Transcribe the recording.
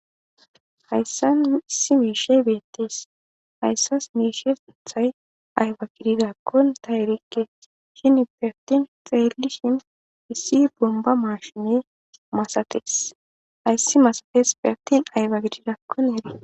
Hayssan nus issi miishshay beetees. Hayssas miishshatetas ay gididaakon ta erikke. Cimmoppe attin xeelishin issi bombba maashinee masatees. hayssi masatesfe attin ayba gididakko ereteenna.